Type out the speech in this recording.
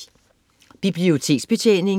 Biblioteksbetjening